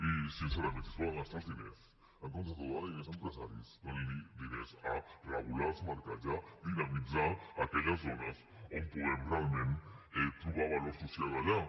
i sincerament si es volen gastar els diners en comptes de donar diners a empresaris donin diners a regular els mercats i a dinamitzar aquelles zones on puguem realment trobar valor social allà